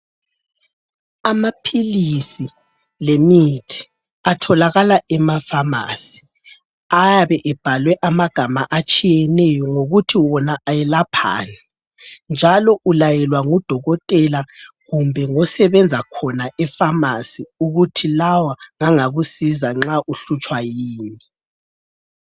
Amaphilisi lemithi atholakala emafamasi ayabe ebhalwe ama gama atshiyeneyo ngokuthi wona ayelaphani, njalo ulayelwa ngudokotela kumbe ngosebenza khona efamasi ukuthi lawa ngangakusiza nxa uhlutshwa yini.